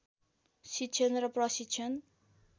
शिक्षण र प्रशिक्षण